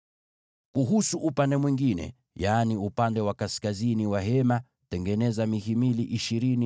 Kuhusu upande wa kaskazini wa maskani, tengeneza mihimili ishirini